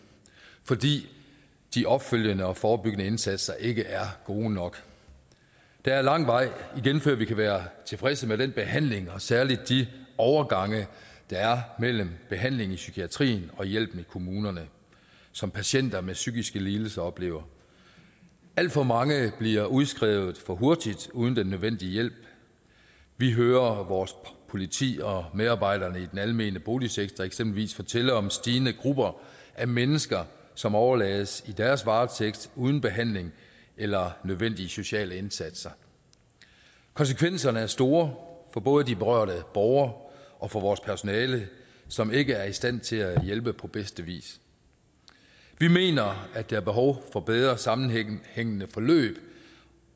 fordi de opfølgende og forebyggende indsatser ikke er gode nok der er lang vej igen før vi kan være tilfredse med den behandling og særlig de overgange der er mellem behandling i psykiatrien og hjælpen i kommunerne som patienter med psykiske lidelser oplever alt for mange bliver udskrevet for hurtigt uden den nødvendige hjælp vi hører at vores politi og medarbejderne i den almene boligsektor eksempelvis fortæller om et stigende grupper af mennesker som overlades i deres varetægt uden behandling eller nødvendige sociale indsatser konsekvenserne er store for både de berørte borgere og for vores personale som ikke er i stand til at hjælpe på bedste vis vi mener at der er behov for bedre sammenhængende forløb